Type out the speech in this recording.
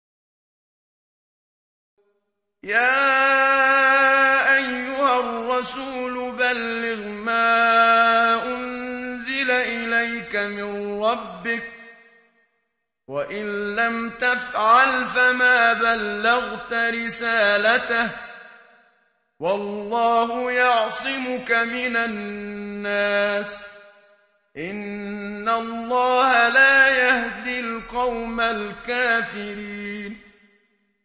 ۞ يَا أَيُّهَا الرَّسُولُ بَلِّغْ مَا أُنزِلَ إِلَيْكَ مِن رَّبِّكَ ۖ وَإِن لَّمْ تَفْعَلْ فَمَا بَلَّغْتَ رِسَالَتَهُ ۚ وَاللَّهُ يَعْصِمُكَ مِنَ النَّاسِ ۗ إِنَّ اللَّهَ لَا يَهْدِي الْقَوْمَ الْكَافِرِينَ